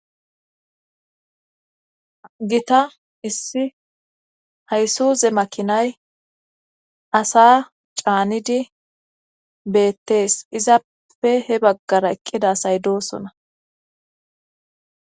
Gita issi haysuuze makinay asa caanidi beettees izappe he baggara eqqida say doosona.